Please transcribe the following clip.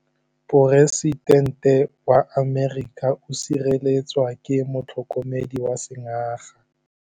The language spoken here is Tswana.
Poresitêntê wa Amerika o sireletswa ke motlhokomedi wa sengaga.